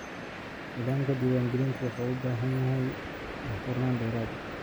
Nidaamka diiwaangelintu wuxuu u baahan yahay daahfurnaan dheeraad ah.